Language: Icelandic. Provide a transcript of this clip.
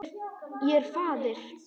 Ég er faðir.